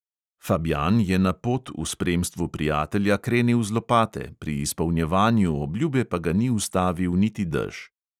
Fabjan je na pot v spremstvu prijatelja krenil z lopate, pri izpolnjevanju obljube pa ga ni ustavil niti dež.